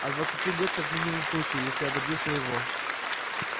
от двадцати лет как минимум в случае если я добьюсь своего